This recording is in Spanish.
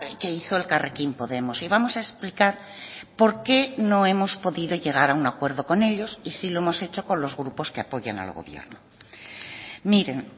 que hizo elkarrekin podemos y vamos a explicar por qué no hemos podido llegar a un acuerdo con ellos y sí lo hemos hecho con los grupos que apoyan al gobierno miren